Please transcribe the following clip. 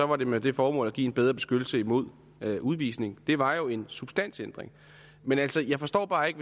var det med det formål at give en bedre beskyttelse imod udvisning det var jo en substansændring men altså jeg forstår bare ikke